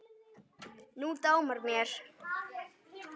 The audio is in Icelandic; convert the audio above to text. Nú dámar mér!